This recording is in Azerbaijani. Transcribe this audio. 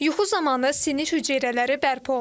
Yuxu zamanı sinir hüceyrələri bərpa olunur.